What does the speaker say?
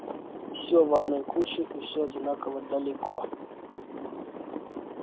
всё в одной куче и всё одинаково далеко